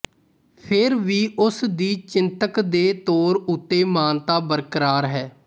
ਫਿਰ ਵੀ ਉਸਦੀ ਚਿੰਤਕ ਦੇ ਤੌਰ ਉੱਤੇ ਮਾਨਤਾ ਬਰਕਰਾਰ ਹੈ